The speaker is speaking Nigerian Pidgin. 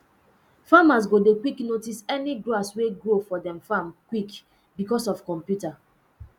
farmers go dey quick notice any grass wey grow for dem farm quick because of computer